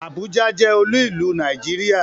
Àbújá jẹ́ olú ìlú Nàìjíríà.